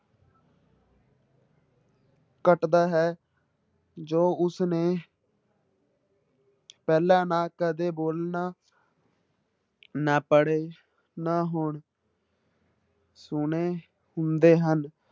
ਘੱਟਦਾ ਹੈ ਜੋ ਉਸਨੇ ਪਹਿਲਾਂ ਨਾ ਕਦੇ ਬੋਲਣਾ ਨਾ ਪੜ੍ਹੇ ਨਾ ਹੁਣ ਸੁਣੇ ਹੁੰਦੇ ਹਨ।